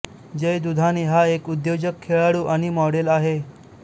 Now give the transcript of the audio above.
जय दुधाणे हा एक उद्योजक खेळाडू आणि मॉडेल आहे